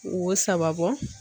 Wo saba bɔ